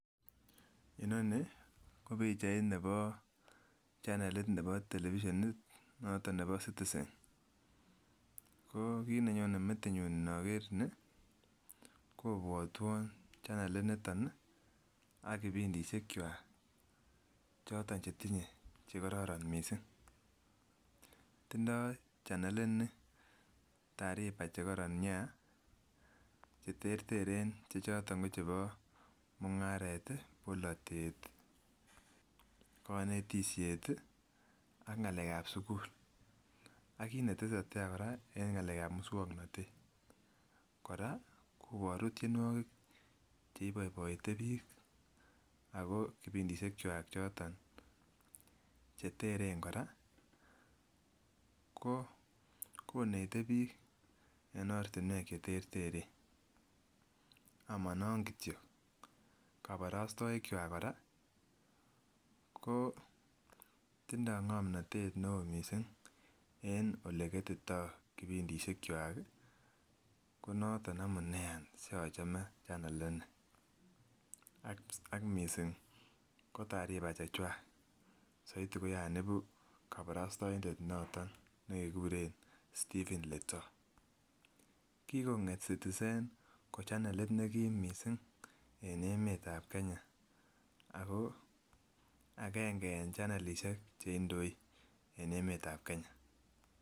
Inoni ko pichait nebo chanelit nebo televisionit noton nebo Citizen, ko kit nenyone metinyun inoker ni kobwotwon chanelit niton ih ak kipindisiek kwak choton chetinye chekoron kot missing. Tindoo chanelit ni tariba chekoron nia cheterteren choton ko chebo mung'aret ih, bolotet ih konetisiet ih ak ng'alek ab sugul ak kit netesetai kora eng ng'alek ab muswongnotet. Kora koboru tienwogik cheiboiboite biik ako kipindisiek kwak choton cheteren kora ko konete biik en ortinwek cheterteren amonon kityok koborostoik kwak kora ko tindoo ng'omnotet neoo missing en oleketitoo kipindisiek kwak ih konoton amunee any siachome chanelit ni ak missing ko tariba chechwak soiti ko yan ibu koborostoindet noton nekekuren Stephen Letoo. Kikong'et Citizen ko chanelit nekim missing en emetab Kenya ako agenge en chanelisiek cheindoi en emetab Kenya